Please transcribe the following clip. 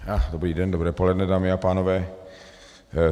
Dobrý den, dobré poledne, dámy a pánové.